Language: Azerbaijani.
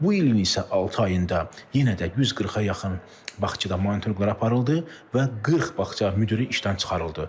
Bu ilin isə altı ayında yenə də 140-a yaxın bağçada monitorinqlər aparıldı və 40 bağça müdiri işdən çıxarıldı.